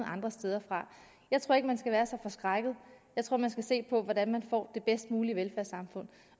andre steder fra jeg tror ikke man skal være så forskrækket jeg tror man skal se på hvordan man får det bedst mulige velfærdssamfund